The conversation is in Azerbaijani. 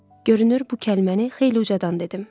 Görünür bu kəlməni xeyli ucadan dedim.